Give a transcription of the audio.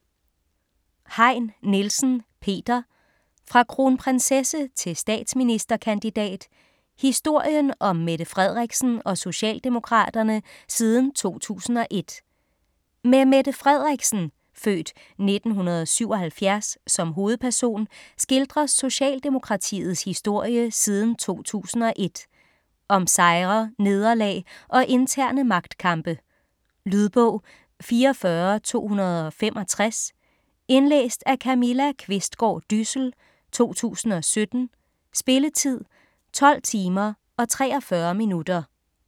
Heyn Nielsen, Peter: Fra kronprinsesse til statsministerkandidat: historien om Mette Frederiksen og Socialdemokraterne siden 2001 Med Mette Frederiksen (f. 1977) som hovedperson skildres Socialdemokratiets historie siden 2001. Om sejre, nederlag og interne magtkampe. Lydbog 44265 Indlæst af Camilla Qvistgaard Dyssel, 2017. Spilletid: 12 timer, 43 minutter.